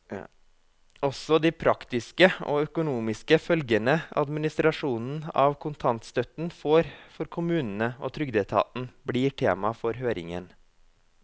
Også de praktiske og økonomiske følgene administrasjonen av kontantstøtten får for kommunene og trygdeetaten, blir tema for høringen.